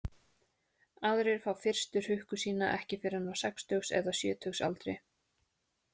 Aðrir fá fyrstu hrukku sína ekki fyrr en á sextugs- eða sjötugsaldri.